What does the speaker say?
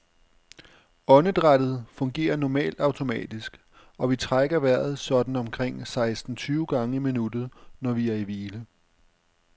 Åndedrættet fungerer normalt automatisk, og vi trækker vejret sådan omkring seksten tyve gange i minuttet, når vi er i hvile.